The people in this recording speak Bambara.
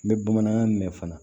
N bɛ bamanankan mɛn fana